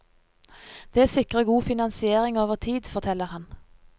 Det sikrer god finansiering over tid, forteller han.